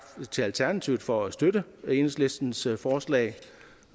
til alternativet for at støtte enhedslistens forslag